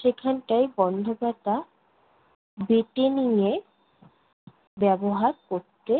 সেখানটায় গন্ধপাতা বেটে নিয়ে ব্যবহার করতে